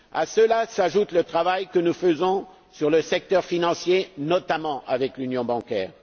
À cela s'ajoute le travail que nous faisons dans le secteur financier, notamment avec l'union bancaire.